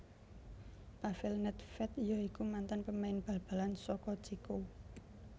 Pavèl Nèdvdè ya iku mantan pemain bal balan saka Céko